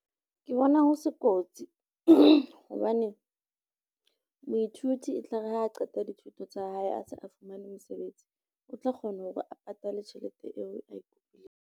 Ke bona ho se kotsi hobane, moithuti etlare ha a qeta dithuto tsa hae a se a fumane mosebetsi, o tla kgona hore a patale tjhelete eo a e kopileng.